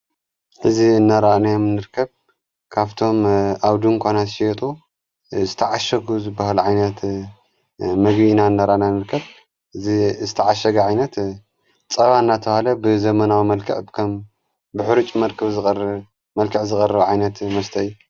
እዙ ነራእናዮም ንርከብ ካብቶም ኣው ዱ ንኳናት ሸየጡ ዝተዓሸጉዝ በሃል ዓይነት መጊና እነራእና ንርከብ እ ዝተዓሸግ ዓይነት ጸዋ እናተሃለ ብዘመናዊ መልከዕ ከም ብኅሩጭ መርከብ መልከዕ ዝቐር ዓይነት መስተይ እዩ።